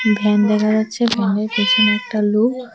Van দেখা যাচ্ছে ভ্যানের পেছনে একটা লোক।